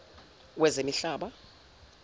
wezemihlaba